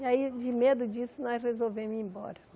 E aí, de medo disso, nós resolvemos ir embora.